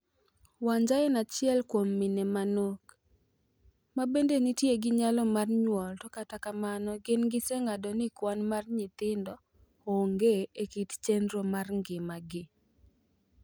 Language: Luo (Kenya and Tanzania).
Wanja en achiel kuom mine manok , ma bende nitie gi nyalo mar nyuol to kata kamano gin giseng'ado ni kwan mar nyithindo onge e kit chenro mar ngimagi.a